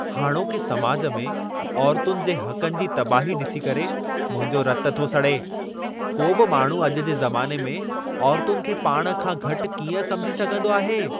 हाणोके समाज में औरतुनि जे हक़नि जी तबाही ॾिसी करे मुंहिंजो रतु थो सड़े। को बि माण्हू अॼु जे ज़माने में औरतुनि खे पाण खां घटि कीअं समिझी सघंदो आहे?